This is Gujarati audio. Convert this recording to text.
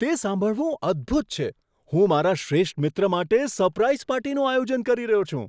તે સાંભળવું અદ્ભુત છે! હું મારા શ્રેષ્ઠ મિત્ર માટે સરપ્રાઈઝ પાર્ટીનું આયોજન કરી રહ્યો છું.